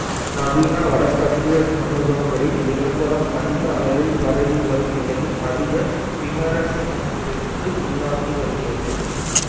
நவீன வடக்கத்திய சமூகங்களில் விளம்பரம் அதிக அளவில் பரவி வரும் நிலையில் அதிக விமரிசனத்திற்கு உள்ளாகி வருகிறது